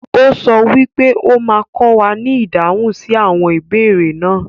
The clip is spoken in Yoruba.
O sọ wípé o ma kọ wà ní ìdáhùn sí àwọn ìbéèrè náà.